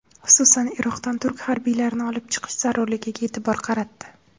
Xususan, Iroqdan turk harbiylarini olib chiqish zarurligiga e’tibor qaratdi.